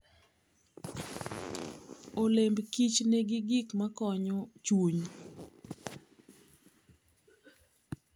Olemb Kich nigi gik makonyo chuny.